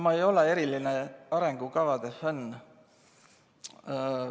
Ma ei ole eriline arengukavade fänn.